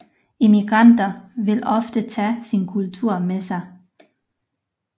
Immigranter vil ofte tage sin kultur med sig